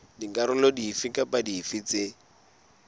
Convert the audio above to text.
dikarolo dife kapa dife tse